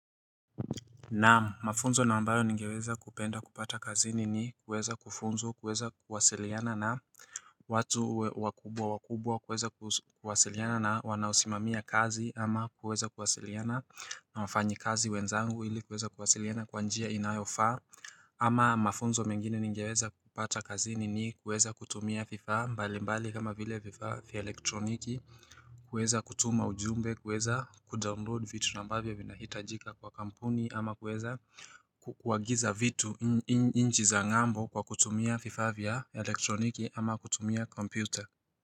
Naam mafunzo na ambayo ningeweza kupenda kupata kazini ni kueza kufunzwa kueza kuwasiliana na watu wakubwa wakubwa kueza kuwasiliana na wanausimamia kazi ama kueza kuwasiliana na wafanyi kazi wenzangu ili kueza kuwasiliana kwanjia inayofaa ama mafunzo mengine ningeweza kupata kazini ni kueza kutumia vifaa mbali mbali kama vile vifaa vya elektroniki kueza kutuma ujumbe, kueza kudownload vitu nambavya vinahitajika kwa kampuni ama kueza kuagiza vitu inchi za ngambo kwa kutumia vifaa vya elektroniki ama kutumia komputa.